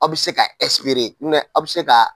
Aw bɛ se ka aw bɛ se ka